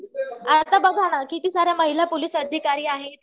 आता बघा ना किती साऱ्या महिला पोलीस अधिकारी आहेत